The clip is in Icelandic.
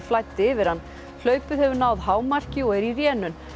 flæddi yfir hann hlaupið hefur náð hámarki og er í rénun